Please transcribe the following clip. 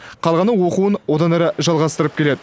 қалғаны оқуын одан әрі жалғастырып келеді